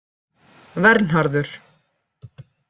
Vernharður